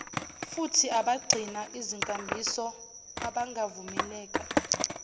futhiabagcina izinkambiso abangavumeleka